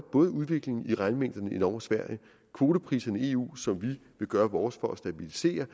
både udviklingen i regnmængderne i norge og sverige kvotepriserne i eu som vi vil gøre vores for at stabilisere